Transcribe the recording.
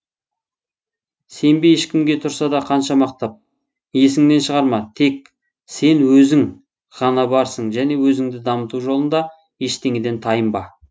сенбе ешкімге тұрса да қанша мақтап есіңнен шығарма тек сен өзің ғана барсың және өзіңді дамыту жолында ештеңеден тайынба